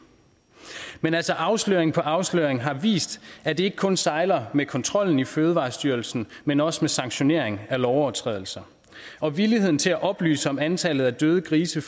men altså afsløring på afsløring har vist at det ikke kun sejler med kontrollen i fødevarestyrelsen men også med sanktionering af lovovertrædelser og villigheden til at oplyse om antallet af døde grise